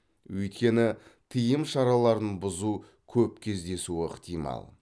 өйткені тыйым шараларын бұзу көп кездесуі ықтимал